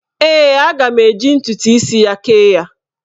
Ee, aga m eji ntụtụ isi ya kee ya.